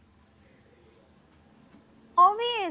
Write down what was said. obesely